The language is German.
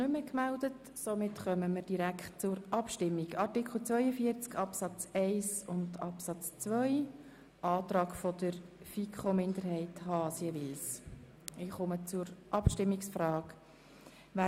Wir kommen zur Abstimmung über den Antrag der FiKo-Minderheit von Grossrat Haas zu Artikel 42 Absatz 1.